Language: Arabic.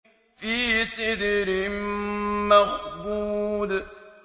فِي سِدْرٍ مَّخْضُودٍ